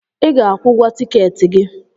I ga-akwụ ụgwọ tikeeti gi